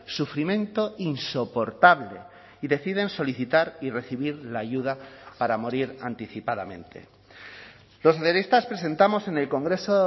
sufrimiento insoportable y deciden solicitar y recibir la ayuda para morir anticipadamente los socialistas presentamos en el congreso